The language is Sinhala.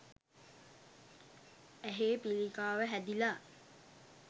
ඇහේ පිළිකාව හැදිලා